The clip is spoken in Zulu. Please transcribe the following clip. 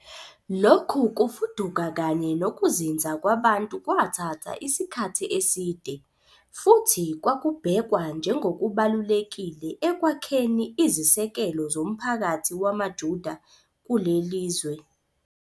Lokhu kufuduka kanye nokuzinza kwabantu kwathatha isikhathi eside, futhi kwakubhekwa njengokubalulekile ekwakheni izisekelo zomphakathi wamaJuda kuleli zwe.